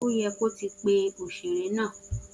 O yẹ kó ti pe òṣèré náà